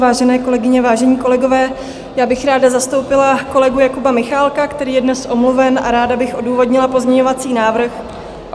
Vážené kolegyně, vážení kolegové, já bych ráda zastoupila kolegu Jakuba Michálka, který je dnes omluven, a ráda bych odůvodnila pozměňovací návrh...